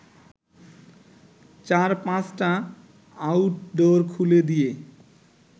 চার-পাঁচটা outdoor খুলে দিয়ে